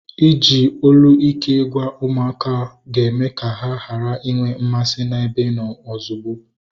Iji olu ike gwa ụmụaka okwu ga-eme ka ha ghara inwe mmasị na-ebe ịnọ ozugbo